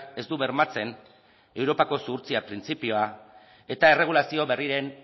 ez du bermatzen europako zuhurtzia printzipioa eta erregulazio berrien